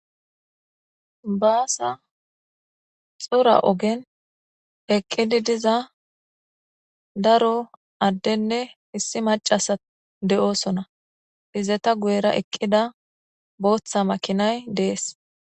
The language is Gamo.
Baasa xora ogen eqqidi diza daro addenne issi macasa de7oosona izeta guyera eqqida booththa makinay dees.